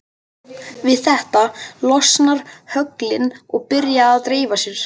Við þetta losna höglin og byrja að dreifa sér.